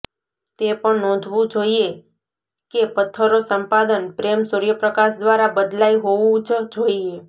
તે પણ નોંધવું જોઇએ કે પત્થરો સંપાદન પ્રેમ સૂર્યપ્રકાશ દ્વારા બદલાઈ હોવું જ જોઈએ